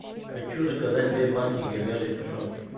хочу заказать две банки говяжьей тушенки